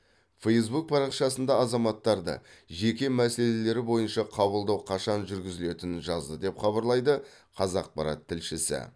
фэйсбук парақшасында азаматтарды жеке мәселелері бойынша қабылдау қашан жүргізілетінін жазды деп хабарлайды қазақпарат тілшісі